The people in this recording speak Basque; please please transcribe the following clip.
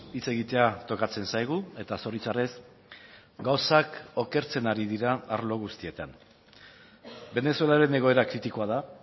hitz egitea tokatzen zaigu eta zoritxarrez gauzak okertzen ari dira arlo guztietan venezuelaren egoera kritikoa da